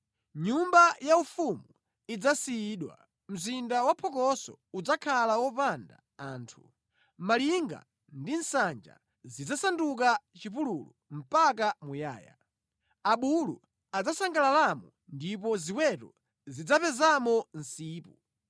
Nyumba yaufumu idzasiyidwa, mzinda waphokoso udzakhala wopanda anthu; malinga ndi nsanja zidzasanduka chipululu mpaka muyaya. Abulu adzasangalalamo ndipo ziweto zidzapezamo msipu.